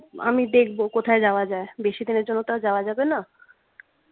আমি দেখব কোথায় যাওয়া যাই বেশিদিনের জন্য তো আর যাওয়া যাবে না